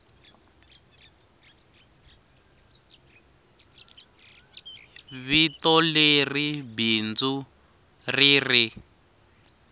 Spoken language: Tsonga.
vito leri bindzu ri ri